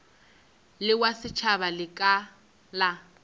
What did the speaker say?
le wa setšhaba lekala la